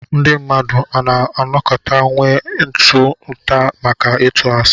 Ndí mmadụ a nà-anọkàtà nwé ịtá ụtà maka ịtụ àsị